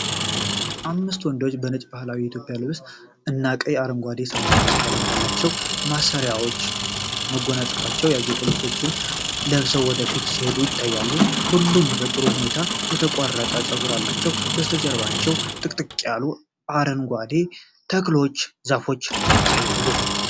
አምስት ወንዶች በነጭ ባህላዊ የኢትዮጵያ ልብሶች እና በቀይ፣ አረንጓዴ እና ሰማያዊ ቀለም ባላቸው ማሰሪያዎችና መጎናጸፊያዎች ያጌጡ ልብሶችን ለብሰው ወደ ፊት ሲሄዱ ይታያሉ። ሁሉም በጥሩ ሁኔታ የተቆረጠ ፀጉር አላቸው፤ ከበስተጀርባ ጥቅጥቅ ያሉ አረንጓዴ ተክሎችና ዛፎች ይታያሉ።